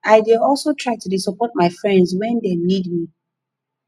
i dey also try to dey support my friends wen dem need me